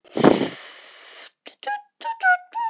Við tókum ýmis atriði.